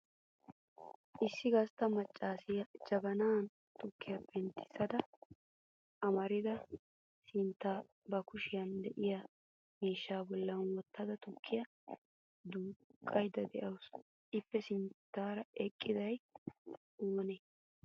Issi gastta macvasiya jabanan tukkiya penttissada amarida sinetta ba kishiya de'iyaa miishsha bolla wottada tukiyaa duuqqaydda de'awusu. Ippe sinttaara eqqiday oonee?